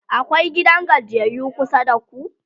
akwai gidan gajiyayyu kusa da ku?